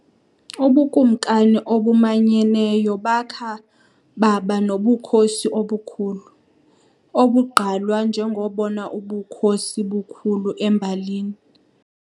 ubukumkani obumanyeneyo bakha baba nobukhosi obukhulu, obugqalwa njengobona bukhosi bukhulu embalini.